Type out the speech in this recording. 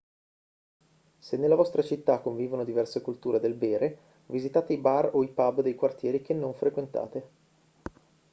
se nella vostra città convivono diverse culture del bere visitate i bar o i pub dei quartieri che non frequentate